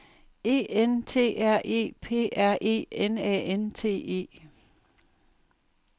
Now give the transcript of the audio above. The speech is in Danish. E N T R E P R E N A N T E